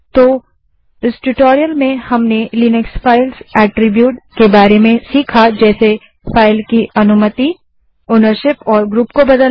अतः इस ट्यूटोरियल में हमने लिनक्स फ़ाइल अट्रिब्युट्स के बारे में सीखा जैसे फाइल की अनुमति ओनरशीप और ग्रुप को बदलना